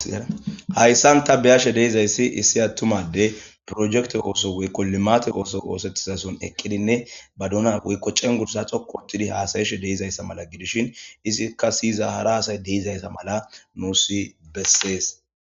hayssan ta bi7ashe de7izayssi issi attuma adde projekte ooso woykko limate ooso oosettizason eqqidinne ba dona woykko cengursa xoqu ottidi haasayeshe de7izayssa mala gidishin isikka siyiza hara asay deizayssa mala nuusi bessees